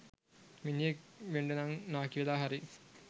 මිනිහෙක් වෙන්ඩනං නාකිවෙලා හරි